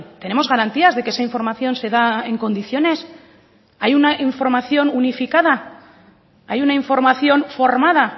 tenemos garantías de que esa información se da en condiciones hay una información unificada hay una información formada